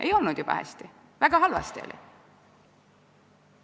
Ei olnud jube hästi, väga halvasti oli.